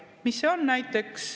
Kes see on?